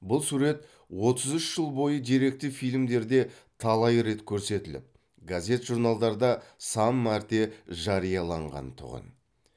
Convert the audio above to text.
бұл сурет отыз үш жыл бойы деректі фильмдерде талай рет көрсетіліп газет журналдарда сан мәрте жарияланған тұғын